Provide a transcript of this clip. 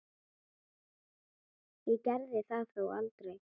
Ég gerði það þó aldrei.